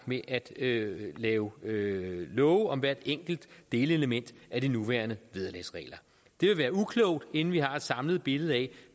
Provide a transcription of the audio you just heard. med at lave lave love om hvert enkelt delelement af de nuværende vederlagsregler det ville være uklogt inden vi har et samlet billede af